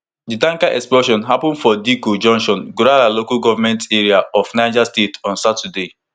di tanker explosion happun for dikko junction gurara local goment area of niger state on saturday